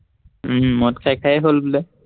উম মদ খাই খাইয়ে হল বোলে